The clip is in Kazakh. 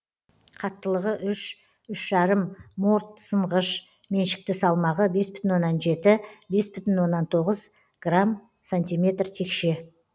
қаттылығы үш үш жарым морт сынғыш меншікті салмағы бес бүтін оннан жеті бес бүтін оннан тоғыз грамм сантиметр текше